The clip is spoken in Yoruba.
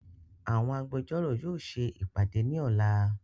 Àwọn Agbẹjọ́rò yóò ṣe ìpàdé ní ọ̀la